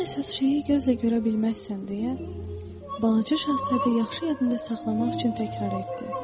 Ən əsas şeyi gözlə görə bilməzsən deyə Balaca Şahzadə yaxşı yadında saxlamaq üçün təkrar etdi.